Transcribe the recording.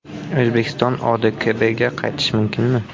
O‘zbekiston ODKBga qaytishi mumkinmi?